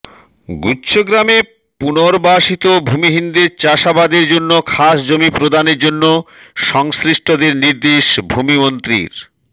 গুচ্ছগ্রামে পুনর্বাাসিত ভূমিহীনদের চাষাবাদের জন্য খাসজমি প্রদানের জন্য সংশ্লিষ্টদের নির্দেশ ভূমিমন্ত্রীর